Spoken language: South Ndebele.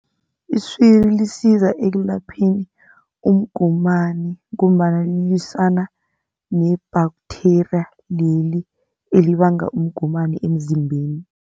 Iswiri lisiza ekulapheni umgomani ngombana lilwisana ne-bacteria leli elibanga umgomani emzimbeni.